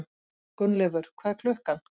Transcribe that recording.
Gunnleifur, hvað er klukkan?